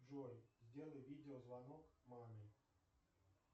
джой сделай видео звонок маме